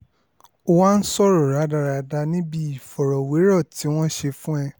o wá ń sọ rádaràda níbi ìfọ̀rọ̀wérọ̀ tí wọ́n ṣe fún ẹ